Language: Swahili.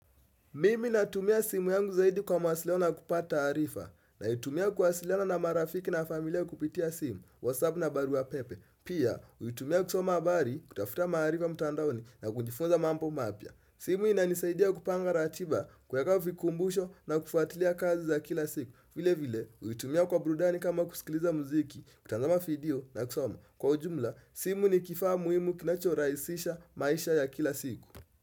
Mimi natumia simu yangu zaidi kwa mawasiliano na kupata taarifa naitumia kuwasiliana na marafiki na familia kupitia simu, whatsapp na barua pepe. Pia, huitumia kusoma habari kutafuta maarifa mtandaoni na kujifunza mambo mapya. Simu inanisaidia kupanga ratiba kueka vikumbusho na kufuatilia kazi za kila siku. Vile vile, huitumia kwa burudani kama kusikiliza muziki, kutazama video na kusoma. Kwa ujumla, simu ni kifaa muhimu kinachorahisisha maisha ya kila siku.